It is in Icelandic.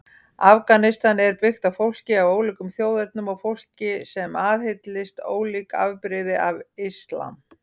Afganistan er byggt fólki af ólíkum þjóðernum og fólki sem aðhyllist ólík afbrigði af islam.